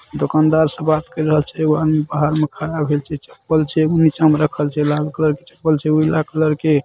दुकानदार से बात केर रहल छै एगो आदमी बाहर में खड़ा भेल छै चप्पल छै ऊ नीचा में रखल छै लाल कलर के चप्पल छै उजला कलर के--